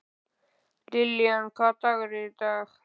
Lillian, hvaða dagur er í dag?